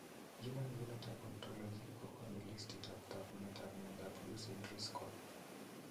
Human Phenotype Ontologyv kokoonu listiitab taakunetab myondap Lucey Driscoll.